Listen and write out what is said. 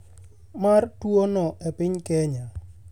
mar tuo no e piny Kenya.